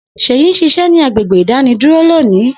Seyi n ṣiṣẹ ni agbegbe idaní duro loni.